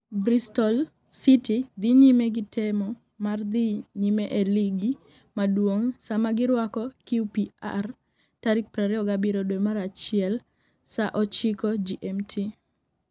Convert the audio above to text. Bristol City dhi nyime gi temo mar dhi nyime e ligi maduong' sama girwako QPR tarik 27 dwe mar achiel (15:00 GMT).